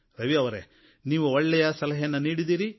ರವಿಯವರೇ ನೀವು ಒಳ್ಳೆಯ ಸಲಹೆಯನ್ನು ನೀಡಿದ್ದೀರಿ